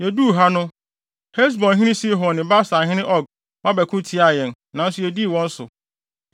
Yeduu ha no, Hesbonhene Sihon ne Basanhene Og ba bɛko tiaa yɛn, nanso yedii wɔn so.